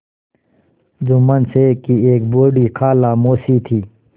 जुम्मन शेख की एक बूढ़ी खाला मौसी थी